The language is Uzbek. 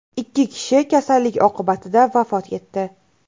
Ikki kishi kasallik oqibatida vafot etdi.